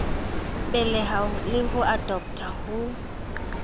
beleha le ho adoptha ho